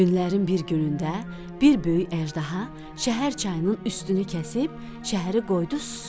Günlərin bir günündə bir böyük əjdaha şəhər çayının üstünü kəsib şəhəri qoydu susuz.